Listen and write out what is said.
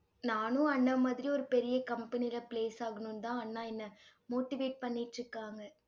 நானும் அண்ணன் மாதிரி, ஒரு பெரிய company ல place ஆகணும்னுதான் அண்ணா என்னை motivate பண்ணிட்டிருக்காங்க